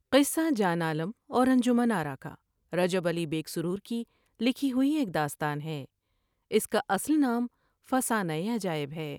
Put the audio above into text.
قصہ جان عالم اور انجمن آرا کا رجب علی بیگ سرور کی لکھی ہوئی ایک داستان اس کا اصل نام فسانۂ عجا ئب ہے ۔